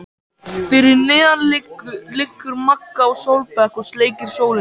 Fyrir neðan liggur Magga á sólbekk og sleikir sólina.